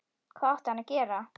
Hvað átti hann að gera?